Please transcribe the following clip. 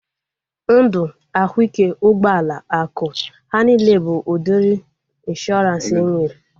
Ndụ, ahụike, ụgbọala, akụ, ha niile bụ udiri ịnshọransị enwere